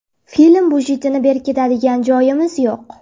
Film budjetini berkitadigan joyimiz yo‘q.